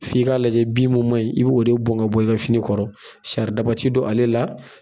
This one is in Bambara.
F' i k'a lajɛ bin mun ma ɲin, i b'o de bɔn ka bɔ fini kɔrɔ, saridaba ti don ale la.